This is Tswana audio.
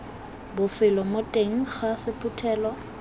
bofelo mo teng ga sephuthelo